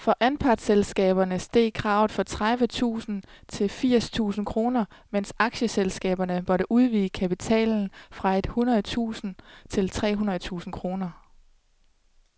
For anpartsselskaberne steg kravet fra tredive tusind til firs tusind kroner, mens aktieselskaberne måtte udvide kapitalen fra et hundrede tusind til tre hundrede tusind kroner.